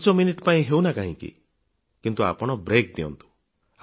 ପାଞ୍ଚ ମିନିଟ୍ ପାଇଁ ହେଉ ନା କାହିଁକି ଆପଣ ବ୍ରେକ୍ ଦିଅନ୍ତୁ